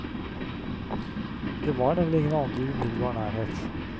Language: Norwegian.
Det var nemlig ingen andre i umiddelbar nærhet.